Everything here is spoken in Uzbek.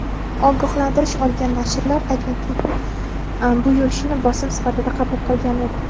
Ogohlantirish olgan nashrlar agentlikning bu yurishini bosim sifatida qabul qilgan edi.